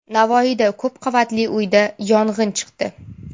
Navoiyda ko‘p qavatli uyda yong‘in chiqdi.